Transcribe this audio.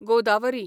Godavari